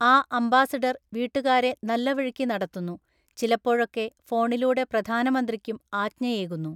ആ അംബാസഡര്‍ വീട്ടുകാരെ നല്ലവഴിക്കു നടത്തുന്നു, ചിലപ്പഴൊക്കെ ഫോണിലൂടെ പ്രധാനമന്ത്രിക്കും ആജ്ഞയേകുന്നു.